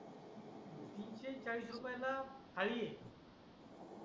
तीस चाळीस रुपये ला थाळी आहे